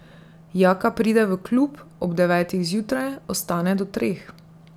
Jaka pride v klub ob devetih zjutraj, ostane do treh.